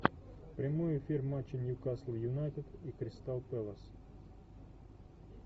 прямой эфир матча ньюкасл юнайтед и кристал пэлас